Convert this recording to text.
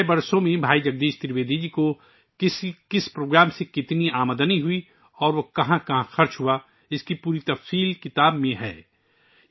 پچھلے 6 سالوں میں بھائی جگدیش ترویدی جی کو کس کس پروگرام سے کتنی آمدنی ہوئی اور وہ کہاں کہاں خرچ ہوئی، اس کا مکمل حساب کتاب میں دیا گیا ہے